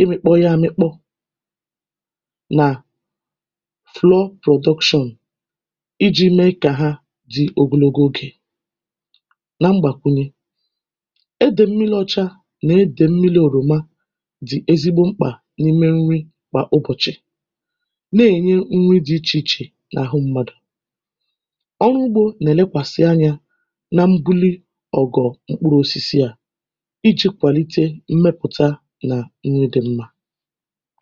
ịmị̄kpọ ya amịkpọ nà flour production ijī mee kà ha dị ogologo ogè na mgbàkwunye edè mmilī ọcha nà edè mmilī òròma dị̀ ezigbo mkpà n’ime nri kwà ụbọ̀chị̀ na-ènye nri dị ichè ichè n’àhụ mmadụ̀ ọlụugbō nà-èlekwàsị anyā na mbuli ọ̀gọ̀ mkpụrụ̄osisi à ijī kwàlite mmepụ̀ta nà nri dị̄ mmā